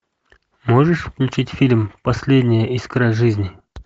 можешь включить фильм последняя искра жизни